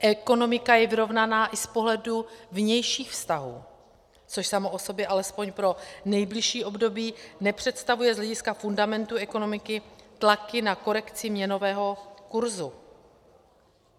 Ekonomika je vyrovnaná i z pohledu vnějších vztahů, což samo o sobě alespoň pro nejbližší období nepředstavuje z hlediska fundamentu ekonomiky tlaky na korekci měnového kurzu.